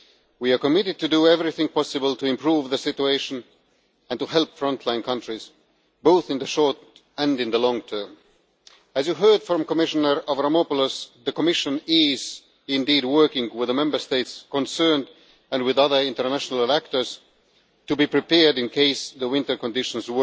We are committed to do everything possible to improve the situation and to help frontline countries, both in the short and in the long term. As you heard from Commissioner Avramopoulos, the Commission is indeed working with the Member States concerned, and with other international actors, to be prepared in case the winter conditions